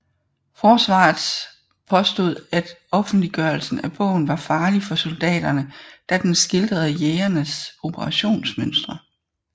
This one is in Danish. Forsvarets påstod at offentliggørelsen af bogen var farlig for soldaterne da den skildrede jægerenes operationsmønstre